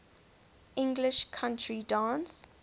english country dance